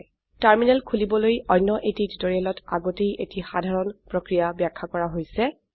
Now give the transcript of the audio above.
terminal খোলিবলৈ অন্য এটি টিউটোৰিয়েলত আগতেই এটি সাধাৰণ প্ৰক্ৰিয়া ব্যাখ্যা কৰা হৈছে